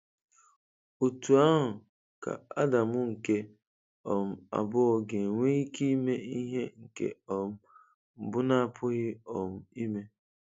Otú ahụ ka Adam nke um abụọ ga-enwe ike ime ihe nke um mbụ na-apụghị um ime?